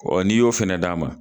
n'i y'o fɛnɛ d'a ma